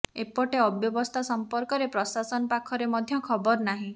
ଏପଟେ ଅବ୍ୟବସ୍ଥା ସଂପର୍କରେ ପ୍ରଶାସନ ପାଖରେ ମଧ୍ୟ ଖବର ନାହିଁ